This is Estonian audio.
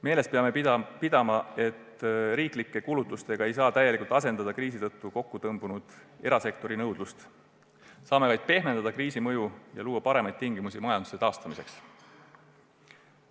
Peame meeles pidama, et me ei saa riiklike kulutustega täielikult asendada kriisi tõttu kokkutõmbunud erasektori nõudlust, me saame vaid pehmendada kriisi mõju ja luua paremad tingimused majanduse taastamiseks.